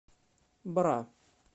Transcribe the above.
бра